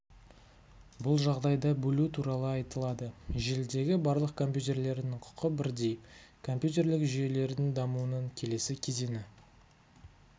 бұл жағдайда бөлу туралы айтылады желідегі барлық компьютерлердің құқы бірдей компьютерлік жүйелердің дамуының келесі кезеңі